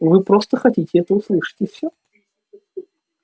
вы просто хотите это услышать и всё